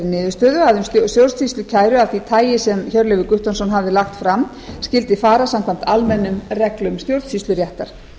niðurstöðu að um stjórnsýslukæru af því tagi sem hjörleifur guttormsson hafði lagt fram skyldi fara samkvæmt almennum reglum stjórnsýsluréttar